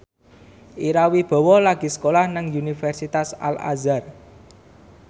Ira Wibowo lagi sekolah nang Universitas Al Azhar